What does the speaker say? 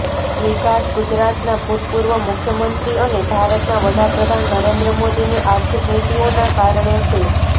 વિકાસ ગુજરાતના ભૂતપૂર્વ મુખ્યમંત્રી અને ભારતના વડાપ્રધાન નરેન્દ્ર મોદીની આર્થિક નીતિઓનાં કારણે છે